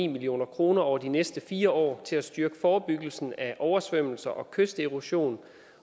million kroner over de næste fire år til at styrke forebyggelsen af oversvømmelser og kysterosion